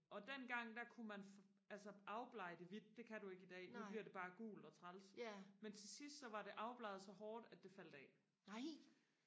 og dengang der kunne man altså afblege det hvidt det kan du ikke i dag nu bliver det bare gult og træls men til sidst så var det afbleget så hårdt at det faldt af